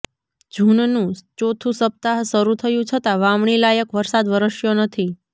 જૂનનું ચોથું સપ્તાહ શરૂ થયું છતાં વાવણી લાયક વરસાદ વરસ્યો નથી